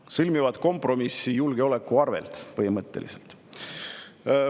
Nad sõlmivad kompromissi põhimõtteliselt julgeoleku arvelt.